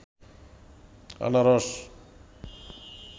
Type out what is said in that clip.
আনারস